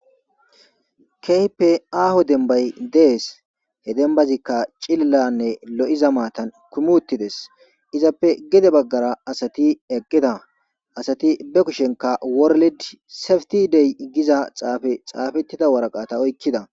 keype aaho dembay dees he dembazikka cililanne lo7iza maatan kumuttides izappe gede baggara asati eqqeda asati be kushenka warled safti dey iggiza xaafe xaafettida waraqata oykkida